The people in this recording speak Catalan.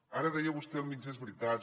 ara deia vostè mitges veritats